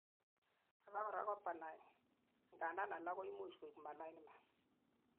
abakora ko benign, angandan alak koimuch koik malignant